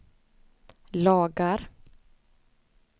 lagar